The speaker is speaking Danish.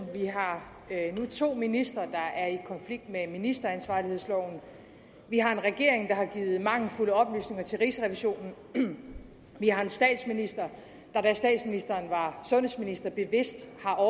vi har nu to ministre der er i konflikt med ministeransvarlighedsloven vi har en regering der har givet mangelfulde oplysninger til rigsrevisionen vi har en statsminister der da statsministeren var sundhedsminister bevidst